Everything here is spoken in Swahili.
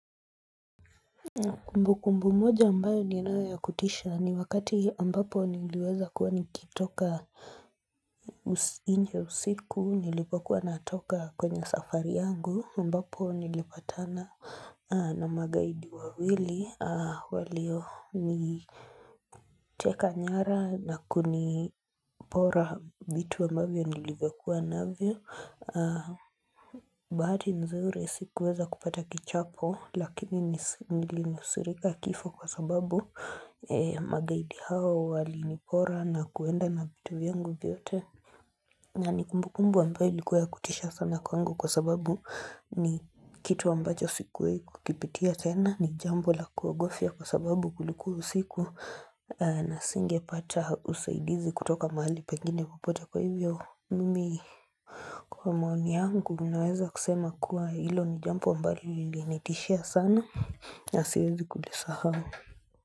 Kumbukumbu moja ambayo ninayo ya kutisha ni wakati ambapo niliweza kuwa nikitoka nje usiku nilipokuwa natoka kwenye safari yangu ambapo nilipatana na magaidi wawili walioniteka nyara na kunipora vitu ambavyo nilivyokuwa navyo. Bahati nzuri sikuweza kupata kichapo lakini nilinusurika kifo kwa sababu magaidi hawa walinipora na kuenda na vitu vyangu vyote. Na ni kumbukumbu ambayo ilikuwa ya kutisha sana kwangu kwa sababu ni kitu ambacho sikuwai kukipitia tena ni jambo la kuagofya kwa sababu kulikuwa usiku na singepata usaidizi kutoka mahali pengine popote kwa hivyo mimi. Kwa maoni yangu naweza kusema kuwa hilo ni jambo ambalo lilinitishia sana na siwezi kulisahau.